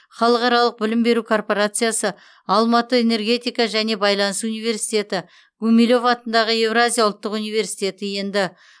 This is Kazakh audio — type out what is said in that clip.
халықаралық білім беру корпорациясы алматы энергетика және байланыс университеті гумилев атындағы еуразия ұлттық университеті енді